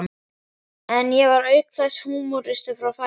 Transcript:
En ég var auk þess húmoristi frá fæðingu.